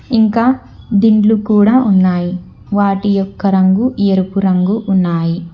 ఇంకా దిండ్లు కూడా ఉన్నాయి వాటి యొక్క రంగు ఎరుపు రంగు ఉన్నాయి.